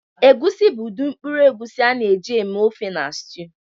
Egusi bụ ụdị mkpụrụ egusi a na-eji eme ofe na stew.